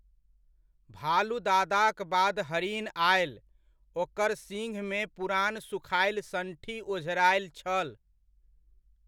भालु दादाक बाद हरिन आयल, ओकर सिँघमे पुरान सुखाएल सण्ठी ओझराएल छल।